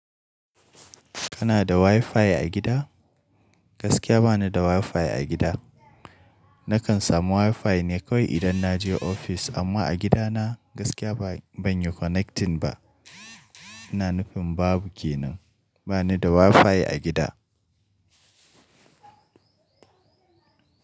Kana da WiFi a gida? Gaskiya ba ni da WiFi a gida. Nakan samu WiFi ne kawai idan na je ofis, amma a gidana gaskiya bai, ban yi connecting ba. Ina nufin babu ke nan. Ba ni da WiFi a gida.